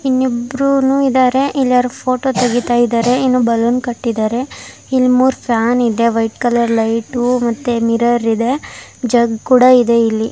ಇನ್ನಿಬ್ರುನು ಇದ್ದಾರೆ ಇಲ್ ಯಾರೋ ಫೋಟೋ-- ತೆಗಿತಾ ಇದ್ದಾರೆ ಇಲ್ಲಿ ಒಂದು ಬಲೂನ್ ಕಟ್ಟಿದ್ದಾರೆ ಇಲ್ಲಿ ಮೂರು ಫ್ಯಾನ್ ಇದೆ ವೈಟ್ ಕಲರ್ ಲೈಟ್ ಮತ್ತು ಮಿರರ್ ಇದೆ ಜಗ ಕೂಡ ಇದೆ ಇಲ್ಲಿ--